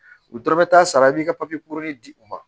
U dɔrɔn bɛ taa sara i b'i ka papiye di u ma